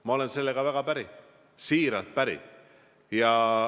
Ma olen sellega väga päri, siiralt päri.